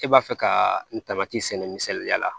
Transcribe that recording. E b'a fɛ ka n tamati sɛnɛ misaliya la